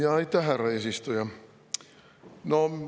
Aitäh, härra eesistuja!